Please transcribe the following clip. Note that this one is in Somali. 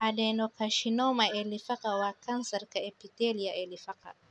Adenocarcinoma ee lifaaqa waa kansarka epithelial ee lifaaqa.